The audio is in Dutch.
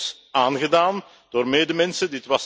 Dit werd ons aangedaan door medemensen.